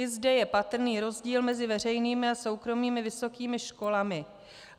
I zde je patrný rozdíl mezi veřejnými a soukromými vysokými školami.